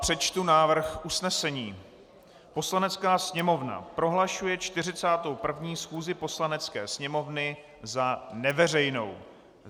Přečtu návrh usnesení: "Poslanecká sněmovna prohlašuje 41. schůzi Poslanecké sněmovny za neveřejnou."